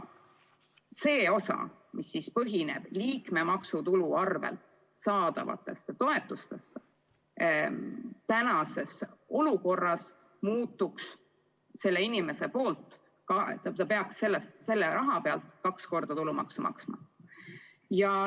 Need toetused, mis põhinevad liikmemaksutulul, praeguses olukorras tähendaksid seda, et inimene peaks selle raha pealt kaks korda tulumaksu maksma.